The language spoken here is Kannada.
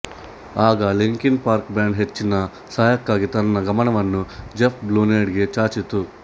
ಆಗ ಲಿಂಕಿನ್ ಪಾರ್ಕ್ ಬ್ಯಾಂಡ್ ಹೆಚ್ಚಿನ ಸಹಾಯಕಕ್ಕಾಗಿ ತನ್ನ ಗಮನವನ್ನುಜೆಫ್ ಬ್ಲೂನೆಡೆಗೆ ಚಾಚಿತು